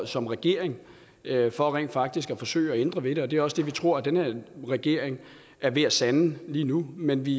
som regering havde for rent faktisk at forsøge at ændre ved det og det er også det vi tror den her regering er ved at sande lige nu men vi